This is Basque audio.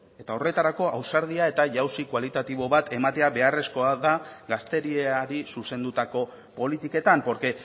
eta horretarako ausardia eta jauzi kualitatibo bat ematea beharrezkoa da gazteriari zuzendutako politiketan porque